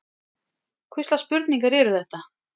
Hvurslags spurningar eru þetta?